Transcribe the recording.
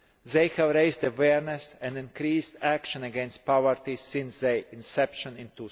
They have raised awareness and increased action against poverty since their inception